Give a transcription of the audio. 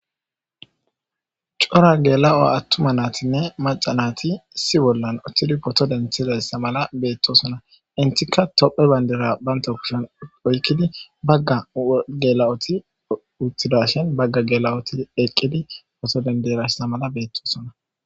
cora gela7oa attuma naatinne macanati issi bollan uchthidi poto denthizayssa mala beettosona intika tophe bayndira banta kushen oykkidi bagga gela7oti uttidashin bagga gela7oti eqqidi poto denderasa mala beettosona